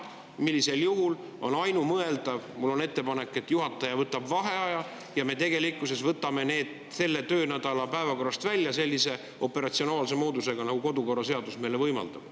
Sellisel juhul on tegelikkuses ainumõeldav ettepanek selline, et juhataja võtab vaheaja ja me võtame need selle töönädala päevakorrast välja sellise operatsionaalse moodusega, nagu kodukorraseadus meile võimaldab.